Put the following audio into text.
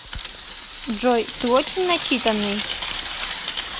джой ты очень начитанный